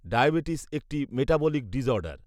diabetes একটি metabolic disorder